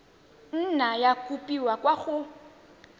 nna ya kopiwa kwa go